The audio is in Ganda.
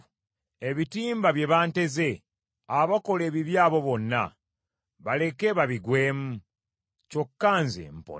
Ebitimba bye banteze abakola ebibi abo bonna, baleke babigwemu, kyokka nze mpone.